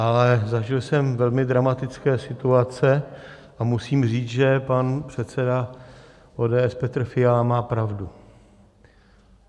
Ale zažil jsem velmi dramatické situace a musím říct, že pan předseda ODS Petr Fiala má pravdu.